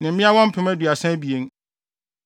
ne mmeawa mpem aduasa abien (32,000).